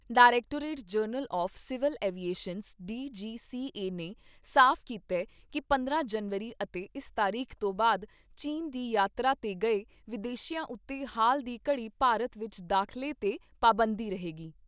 Directorate general of civil aviations DGCA ਨੇ ਸਾਫ ਕੀਤਾ ਕਿ ਪੰਦਰਾਂ ਜਨਵਰੀ ਅਤੇ ਇਸ ਤਾਰੀਖ ਤੋਂ ਬਾਦ ਚੀਨ ਦੀ ਯਾਤਰਾ ਤੇ ਗਏ ਵਿਦੇਸ਼ੀਆਂ ਉੱਤੇ ਹਾਲ ਦੀ ਘੜੀ ਭਾਰਤ ਵਿਚ ਦਾਖਲੇ ਤੇ ਪਾਬੰਦੀ ਰਹੇਗੀ।